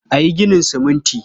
A yi ginin siminti.